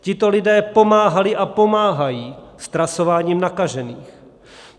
Tito lidé pomáhali a pomáhají s trasováním nakažených.